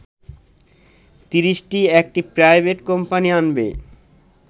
৩০টি একটি private company আনবে